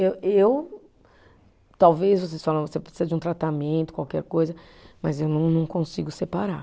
Eu, e eu talvez vocês falam, você precisa de um tratamento, qualquer coisa, mas eu não não consigo separar.